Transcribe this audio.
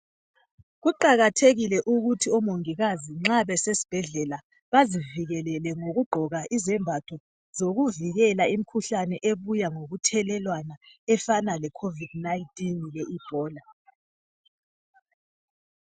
Kuqakathekile ukuthi omongikazi nxa besesibhedlela bazivikelele ngokugqoka izembatho zokuvikela imikhuhlane ebuya ngokuthelelwana efana leCovid19 leEbola.